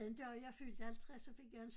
Den dag jeg fyldte 50 så fik jeg en